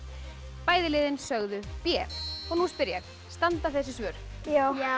bæði liðin sögðu b nú spyr ég standa þessi svör já